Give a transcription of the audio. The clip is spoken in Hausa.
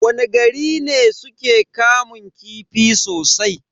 Wani gari ne suke kamun kifi sosai?